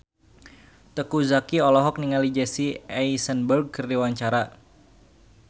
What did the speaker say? Teuku Zacky olohok ningali Jesse Eisenberg keur diwawancara